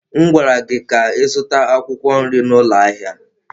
M gwara gị ka ị zụta akwụkwọ nri n'ụlọ ahịa!